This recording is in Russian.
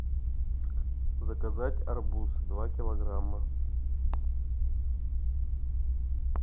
заказать арбуз два килограмма